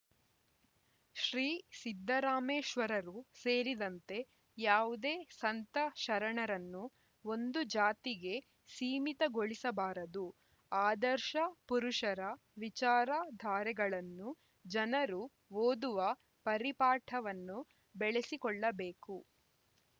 ಶ್ರೀ ಸಿದ್ದರಾಮೇಶ್ವರರು ಸೇರಿದಂತೆ ಯಾವುದೇ ಸಂತ ಶರಣರನ್ನು ಒಂದು ಜಾತಿಗೆ ಸಿಮೀತಗೊಳಿಸಬಾರದು ಆದರ್ಶ ಪುರುಷರ ವಿಚಾರ ಧಾರೆಗಳನ್ನು ಜನರು ಓದುವ ಪರಿಪಾಠವನ್ನು ಬೆಳಸಿಕೊಳ್ಳಬೇಕು